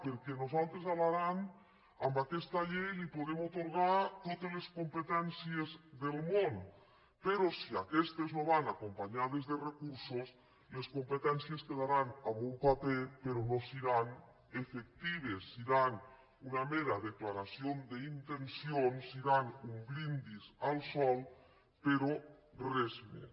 perquè nosaltres a l’aran a aques·ta llei li podem atorgar totes les competències del món però si aquestes no van acompanyades de recur·sos es competències quedaran en un paper però no se·ran efectives seran una mera declaració d’intencions seran un brindis al sol però res més